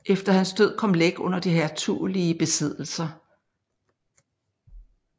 Efter hans død kom Læk under de hertugelige besiddelser